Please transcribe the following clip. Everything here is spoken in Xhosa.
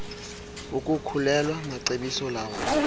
ukukhulelwa macebiso lawo